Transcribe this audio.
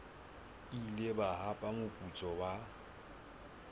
ile ba hapa moputso wa